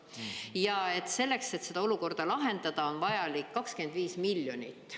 Ja selleks, et seda olukorda lahendada, on vajalik 25 miljonit.